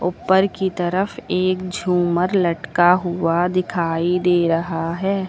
ऊपर की तरफ एक झूमर लटका हुआ दिखाई दे रहा है।